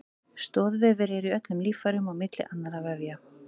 Stoðvefir eru í öllum líffærum á milli annarra vefja.